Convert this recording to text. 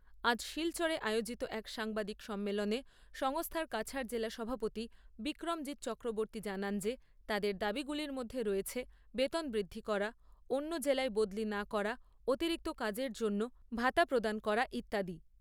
আজ শিলচরে আয়োজিত এক সাংবাদিক সম্মেলনে সংস্থার কাছাড় জেলা সভাপতি বিক্রমজিৎ চক্রবর্ত্তী জানান যে তাদের দাবীগুলির মধ্যে রয়েছে বেতন বৃদ্ধি করা, অন্য জেলায় বদলি না করা, অতিরিক্ত কাজের জন্য ভাতা প্রদান করা ইত্যাদি।